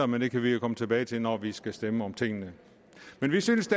men det kan vi jo komme tilbage til når vi skal stemme om tingene men vi synes